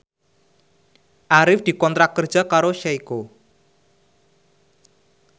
Arif dikontrak kerja karo Seiko